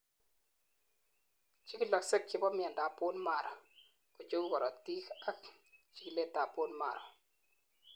chikilosiek chebo miandap bone marrow kocheu korotik ak chikilet ab bone marrow